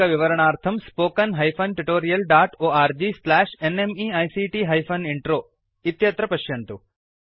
अधिकविवरणार्थं spoken hyphen tutorial dot org slash NMEICT hyphen intro इत्यत्र पश्यन्तु